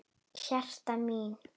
Hertha mín.